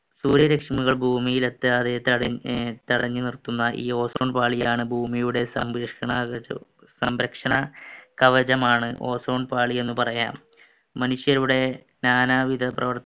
സൂര്യ രശ്മികൾ ഭൂമിയിൽ എത്താതെ തടഞ്ഞു നിർത്തുന്ന ഈ ozone പാളിയാണ് ഭൂമിയുടെ സംരക്ഷണ കവചമാണ് ozone പാളി എന്ന് പറയാം മനുഷ്യരുടെ നാനാവിധ പ്രവർ